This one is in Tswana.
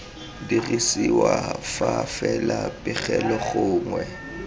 dirisiwa fa fela pegelo gongwe